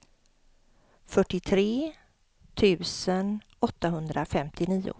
fyrtiotre tusen åttahundrafemtionio